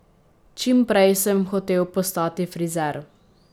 Čim prej sem hotel postati frizer.